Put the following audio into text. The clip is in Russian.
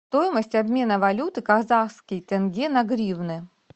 стоимость обмена валюты казахский тенге на гривны